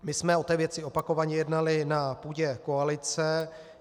My jsme o té věci opakovaně jednali na půdě koalice.